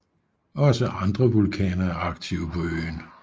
Også andre vulkaner er aktive på øen